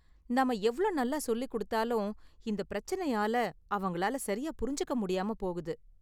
நாம எவ்ளோ நல்லா சொல்லிக் கொடுத்தாலும் இந்த பிரச்சனையால அவங்களால சரியா புரிஞ்சுக்க முடியாம போகுது.